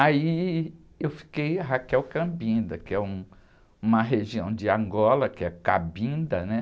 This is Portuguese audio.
Aí eu fiquei, que é uma região de Angola, que é Cabinda, né?